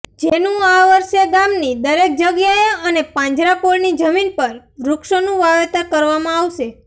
જેનું આ વર્ષે ગામની દરેક જગ્યાએ અને પાંજરાપોળની જમીન પર વૃક્ષોનુ વાવેતર કરવામાં આવશે